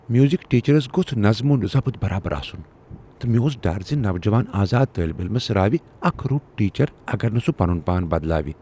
Music teachers گوٚژھ نظم و ضبط برابر آسن، تہٕ مےٚ اوس ڈر ز نوجوان آزاد طٲلب علمس راوِ اکھ رُت ٹیچر اگر نہٕ سہ پنن پان بدلاو۔